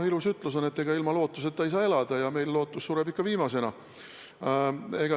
Ilus ütlus on, et ilma lootuseta ei saa elada, ja meil lootus sureb ikka viimasena.